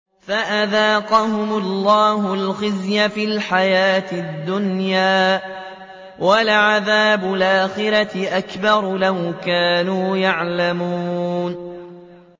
فَأَذَاقَهُمُ اللَّهُ الْخِزْيَ فِي الْحَيَاةِ الدُّنْيَا ۖ وَلَعَذَابُ الْآخِرَةِ أَكْبَرُ ۚ لَوْ كَانُوا يَعْلَمُونَ